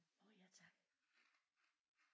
Åh ja tak